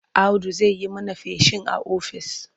Audu zai yi mana feshin ƙwari a ofis.